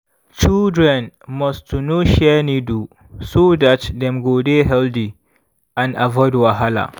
children must to no share needle so dat dem go dey healthy and avoid wahala.